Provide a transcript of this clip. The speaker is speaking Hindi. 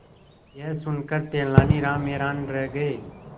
यह सुनकर तेनालीराम हैरान रह गए